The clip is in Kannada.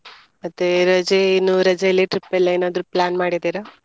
ಮತ್ತೆ ರಜೆ ಇನ್ನೂ ರಜೇಲಿ trip ಎಲ್ಲಾ ಏನಾದ್ರೂ plan ಮಾಡಿದಿರಾ?